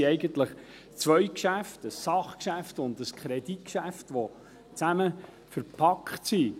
Es sind eigentlich zwei Geschäfte, ein Sachgeschäft und ein Kreditgeschäft, die zusammen verpackt sind.